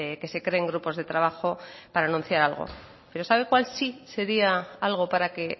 que se creen grupos de trabajo para anunciar algo pero sabe cuál sí sería algo para que